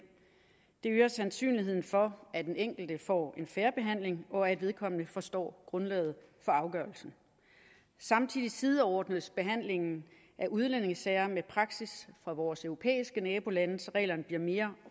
det øger sandsynligheden for at den enkelte får en fair behandling og at vedkommende forstår grundlaget for afgørelsen samtidig sideordnes behandlingen af udlændingesager med praksis fra vores europæiske nabolande så reglerne bliver mere